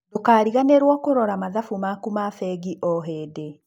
Ndũkariganĩrwo nĩ kũrora mathabu maku ma bengi o hĩndĩ.